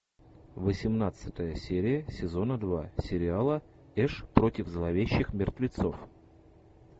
восемнадцатая серия сезона два сериала эш против зловещих мертвецов